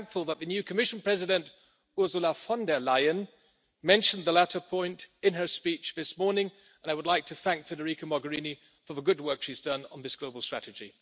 I'm thankful that the new Commission President Ursula von der Leyen mentioned the latter point in her speech this morning, and I would like to thank Federica Mogherini for the good work she has done on this Global Strategy.